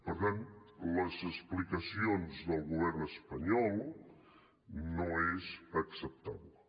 per tant les explicacions del govern espanyol no són acceptables